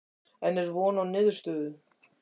En er von á niðurstöðu?